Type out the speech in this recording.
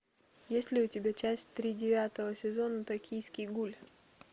есть ли у тебя часть три девятого сезона токийский гуль